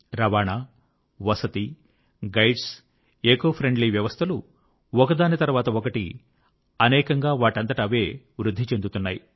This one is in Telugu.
రవాణా వసతి గైడ్స్ ఎకోఫ్రెండ్లీ వ్యవస్థలు ఒకదాని తర్వాత ఒకటి అనేక వ్యవస్థలు వాటంతటవే వృద్ధి చెందుతున్నాయి